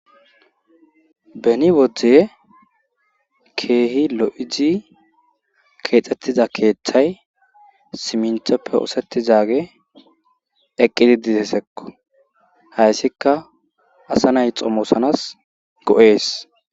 beni wodde keehi lo7izi keexxettiza keeththay siminthoppe oosettizage eqqidi didesekko hayssikka asa nay xomosanas go7ees